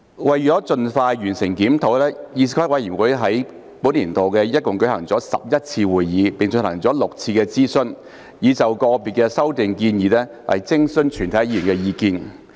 為盡快完成檢討，議事規則委員會於本年度一共舉行了11次會議，並進行了6次諮詢，以就個別修訂建議徵詢議員意見。